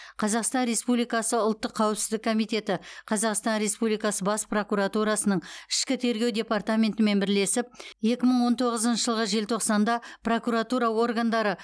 қазақстан республикасы ұлттық қауіпсіздік комитеті қазақстан республикасы бас прокуратурасының ішкі тергеу департаментімен бірлесіп екі мың он тоғызыншы жылғы желтоқсанда прокуратура органдары